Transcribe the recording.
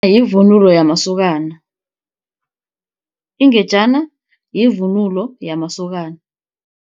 Yivunulo yamasokana, ingejana yivunulo yamasokana.